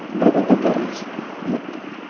бір күнде бәрін біз ұмыттық